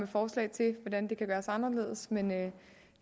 forslag til hvordan det kan gøres anderledes men